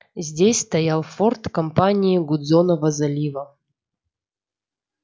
здесь стоял форт компании гудзонова залива